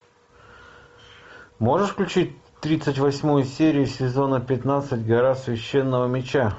можешь включить тридцать восьмую серию сезона пятнадцать гора священного меча